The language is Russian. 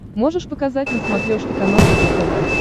можешь показать на смотрешке канал рубль тв